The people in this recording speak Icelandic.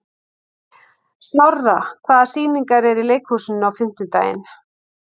Snorra, hvaða sýningar eru í leikhúsinu á fimmtudaginn?